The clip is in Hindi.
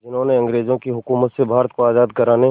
जिन्होंने अंग्रेज़ों की हुकूमत से भारत को आज़ाद कराने